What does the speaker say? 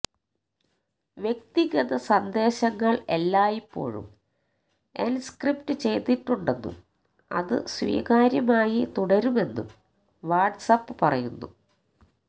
വ്യക്തിഗത സന്ദേശങ്ങള് എല്ലായ്പ്പോഴും എന്ക്രിപ്റ്റ് ചെയ്തിട്ടുണ്ടെന്നും അത് സ്വകാര്യമായി തുടരുമെന്നും വാട്സ് ആപ്പ് പറയുന്നു